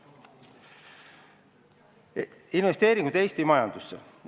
Natuke ka investeeringutest Eesti majandusse.